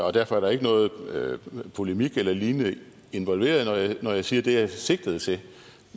og derfor er der ikke noget polemik eller lignende involveret når jeg siger at det jeg sigtede til